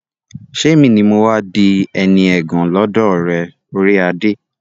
ṣé èmi ni mọ́ wá di ẹni ẹ̀gàn lọ́dọ̀ rẹ, orí adé?